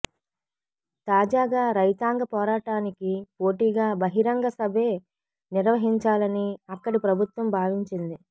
తాజాగా రైతాంగ పోరాటానికి పోటీగా బహిరంగ సభే నిర్వహించాలని అక్కడి ప్రభుత్వం భావించింది